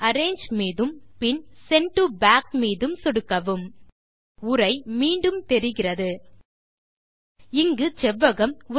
arrange மீதும் பின் send to back மீதும் சொடுக்கவும் உரை மீண்டும் தெரிகிறது இங்கு செவ்வகம்